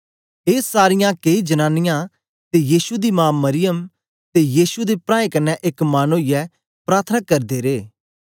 ए सारीयां केई जनांनीयां ते यीशु दी मा मरियम ते यीशु दे प्राऐं कन्ने एक मन ओईयै प्रार्थना करदे रे